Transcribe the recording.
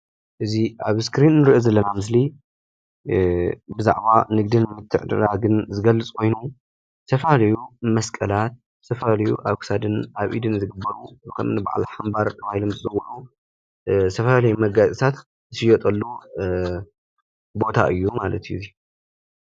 እዚ ኣብ እስኪሪን እንሪኦ ዘለና ምስሊ ብዛዕባ ንግዲን ምትዕድዳግን ዝገልፅ ኮይኑዝተፈላለዩ መስቀላት ዝተፈላለዩ ኣብ ክሳድን ኣብ ኢድን ዝግበሩ ዝኮኑ በዓል ሓንባር ተባሂሎም ዝፅውዑ ዝተፈላለዩ መጋየፅታት ዝሽየጥሉ ቦታ እዩ ማለት እዩ፡፡